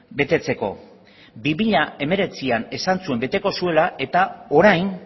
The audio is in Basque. betetzeko bi mila hemeretzian esan zuen beteko zuela eta orain